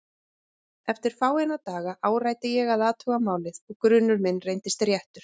Eftir fáeina daga áræddi ég að athuga málið og grunur minn reyndist réttur.